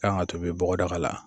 Kan ka tobi bɔgɔdaga la.